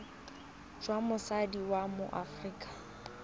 jwa motsadi wa mo aforika